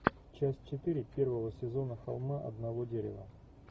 часть четыре первого сезона холма одного дерева